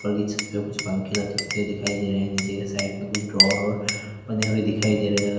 बल्कि छत पे कुछ पंखे लटकते हुए दिखाई दे रहे हैं नीचे के साइड में कुछ ड्रावर और बने हुए दिखाई दे रहे हैं।